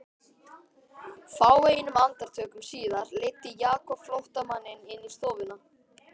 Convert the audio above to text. Fáeinum andartökum síðar leiddi Jakob flóttamanninn inn í stofuna.